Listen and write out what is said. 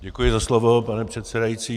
Děkuji za slovo, pane předsedající.